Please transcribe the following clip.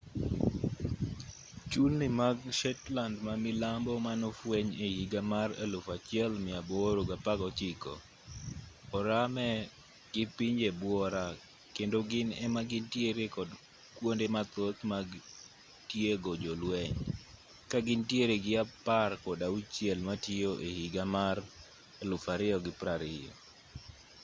chulni mag shetland ma milambo manofweny e higa mar 1819 oramee gi pinje buora kendo gin ema gintiere kod kwonde mathoth mag tiego jolweny ka gintiere gi apar kod auchiel matiyo e higa mar 2020